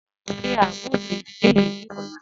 Ṣe à ǹ mú ilù eyikeyi ni ọ̀là?